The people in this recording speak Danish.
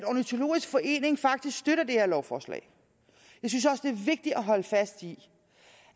ornitologisk forening faktisk støtter det her lovforslag jeg synes også vigtigt at holde fast i